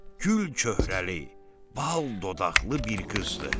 Gül köhrəli, bal dodaqlı bir qızdı.